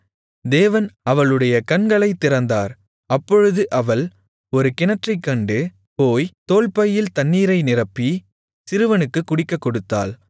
தேவன் அவளுடைய கண்களைத் திறந்தார் அப்பொழுது அவள் ஒரு கிணற்றைக் கண்டு போய் தோல்பையில் தண்ணீரை நிரப்பி சிறுவனுக்குக் குடிக்கக் கொடுத்தாள்